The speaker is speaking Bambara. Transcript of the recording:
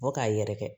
Fɔ k'a yɛrɛkɛ